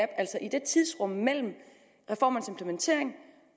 altså i det tidsrum mellem reformernes implementering